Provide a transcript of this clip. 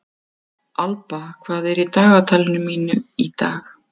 Alba, hvað er í dagatalinu mínu í dag?